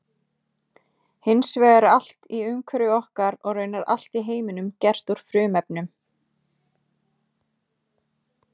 Hins vegar er allt í umhverfi okkar og raunar allt í heiminum gert úr frumefnum.